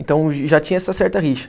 Então, já tinha essa certa rixa.